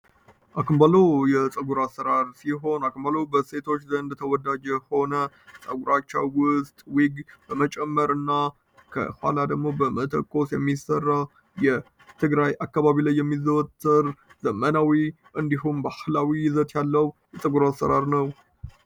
አክባሎ የፀጉር አሰራር ሲሆን አክባሎ በሴቶች ዘንድ ተወዳጀ ሆነ ፀጉራቻው ውስጥ ዊግ በመጨመር ና ከኋላ ደግሞ በመተኮስ የሚሠራ የትግራይ አካባቢ ላይ የሚዘወትር ዘመናዊ እንዲሁን በአህላዊ ይዘት ያለው የፀጉር አሰራር ነው።